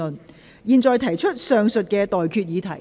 我現在向各位提出上述待決議題。